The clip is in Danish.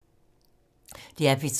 DR P3